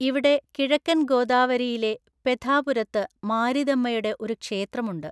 ഇവിടെ കിഴക്കന്‍ ഗോദാവരിയിലെ പെധാപുരത്ത് മാരിദമ്മയുടെ ഒരു ക്ഷേത്രമുണ്ട്.